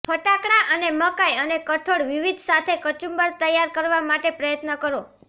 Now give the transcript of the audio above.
ફટાકડા અને મકાઈ અને કઠોળ વિવિધ સાથે કચુંબર તૈયાર કરવા માટે પ્રયત્ન કરો